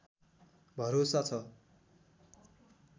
भरोसा छ